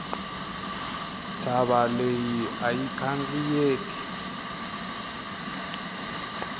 ntshava leyi ayi khandziyeki